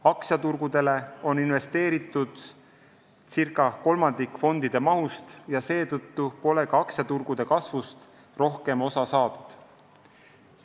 Aktsiaturgudele on investeeritud ca kolmandik fondide mahust ja seetõttu pole ka aktsiaturgude kasvust rohkem osa saadud.